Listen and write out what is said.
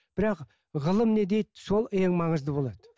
бірақ ғылым не дейді сол ең маңызды болады